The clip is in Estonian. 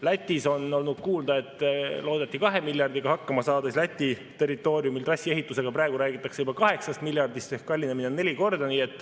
Lätist on olnud kuulda, et loodeti 2 miljardiga hakkama saada, aga Läti territooriumil trassi ehituse puhul räägitakse praegu juba 8 miljardist ehk kallinemine on neli korda.